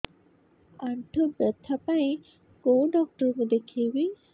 ଆଣ୍ଠୁ ବ୍ୟଥା ପାଇଁ କୋଉ ଡକ୍ଟର ଙ୍କୁ ଦେଖେଇବି